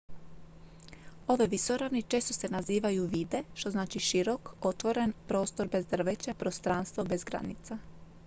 "ove visoravni često se nazivaju "vidde" što znači širok otvoren prostor bez drveća prostranstvo bez granica.